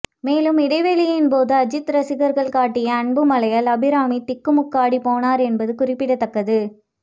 மேலும் இடைவேளையின்போது அஜித் ரசிகர்கள் காட்டிய அன்புமழையால் அபிராமி திக்குமுக்காடி போனார் என்பது குறிப்பிடத்தக்கது